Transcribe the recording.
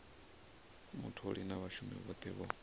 mutholi na vhashumi vhothe vho